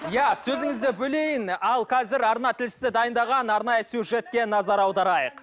иә сөзіңізді бөлейін ал қазір арна тілшісі дайындаған арнайы сюжетке назар аударайық